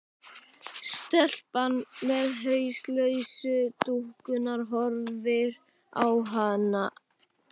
Stelpan með hauslausu dúkkuna horfir á hana.